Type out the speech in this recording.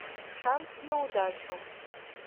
шанс на удачу